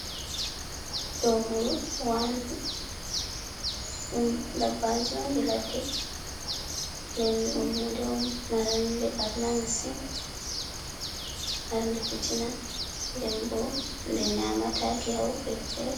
Dooburu wandu, ɗum dabbaji ondi ladde nden ɗum hunde on marde ɓarna masin, marde fitina nden bo ɗe nyamataki ha woɓɓe fere.